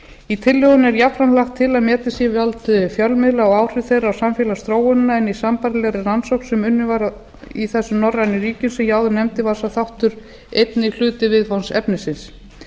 í tillögunni er jafnframt lagt til að metið sé vald fjölmiðla og áhrif þeirra á samfélagsþróunina en í sambærilegri rannsókn sem unnin var í þessum norrænu ríkjum sem ég áður nefndi var sá þáttur einnig hluti viðfangsefnisins